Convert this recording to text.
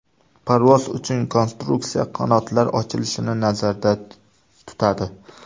Parvoz uchun konstruksiya qanotlar ochilishini nazarda tutadi.